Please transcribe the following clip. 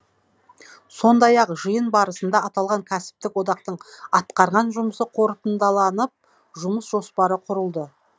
сондай ақ жиын барысында аталған кәсіптік одақтың атқарған жұмысы қорытындыланып жұмыс жоспары құрылды